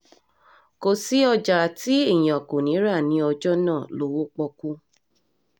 kò sí ọjà tí èèyàn kò ní í rà ní ọjọ́ náà lọ́wọ́ pọ́ọ́kú